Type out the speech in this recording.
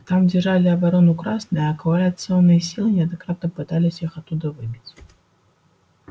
там держали оборону красные а коалиционные силы неоднократно пытались их оттуда выбить